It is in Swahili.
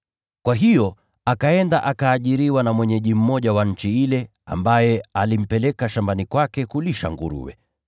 Kwa hiyo akaenda akaajiriwa na mwenyeji mmoja wa nchi ile ambaye alimpeleka shambani kwake kulisha nguruwe.